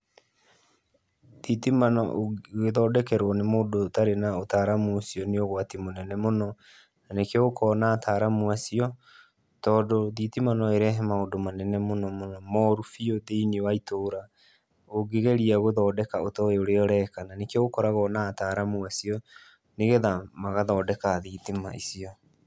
Thitima ũngĩgĩthondekerwo nĩ mũndũ atarĩ na ũtaaramu ũcio, nĩ ũgwati mũnene mũno. Na nĩkĩo gũkoragũo na ataaramu acio tondũ thitima no ĩrehe maũndũ manene mũnomũno moru biũ thĩinĩ wa itũra ũngĩgeria gũthondeka ũtoĩĩ ũrĩa ũreka. Na nĩkĩo gũkoragwo na ataaramu acio nĩgetha magathondeka thitima icio.